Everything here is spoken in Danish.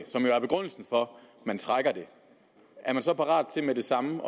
som jo er begrundelsen for at man trækker det er man så parat til med det samme